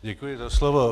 Děkuji za slovo.